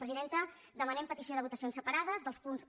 presidenta demanem petició de votacions separades dels punts un